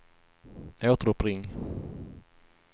återuppring